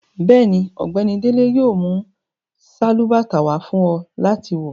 Bẹ́ẹ̀ni, Ọgbẹni Dele yóò mú salubàtà wà fún ọ láti wọ.